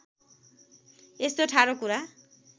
यस्तो ठाडो कुरा